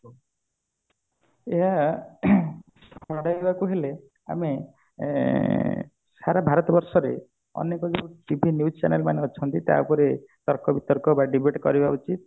ଅ ଆମେ ଏଁ ସାରା ଭାରତ ବର୍ଷରେ ଆମେ ତାକୁ ଯେତେ news channel ମାନେ ଅଛନ୍ତି ତା ଦିହରେ ତର୍କ ବିତର୍କ ବା debate କରିବା ଉଚିତ